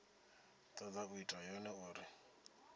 toda u ita yone uri